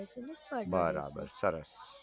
પર ડે રેસે બરાબર સર